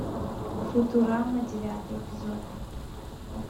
футурама девятый эпизод